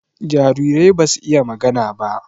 Jarirai basu iya magana ba.